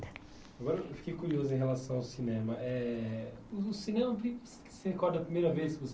Agora eu fiquei curioso em relação ao cinema. Eh você recorda a primeira vez que você